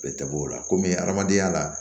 Bɛɛ tɛ bɔ o la kɔmi adamadenya la